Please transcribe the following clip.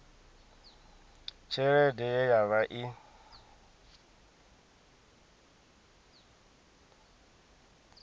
tshelede ye ya vha i